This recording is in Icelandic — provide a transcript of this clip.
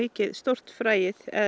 stórt fræið eða